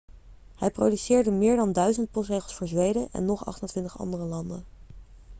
hij produceerde meer dan 1000 postzegels voor zweden en nog 28 andere landen